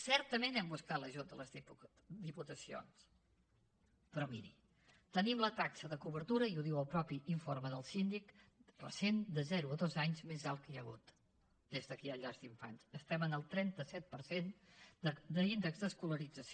certament hem buscat l’ajut de les diputacions però miri tenim la taxa de cobertura i ho diu el mateix informe del síndic recent de zero a dos anys més alta que hi ha hagut des que hi ha llars d’infants estem en el trenta set per cent d’índex d’escolarització